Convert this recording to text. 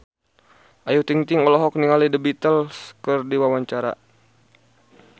Ayu Ting-ting olohok ningali The Beatles keur diwawancara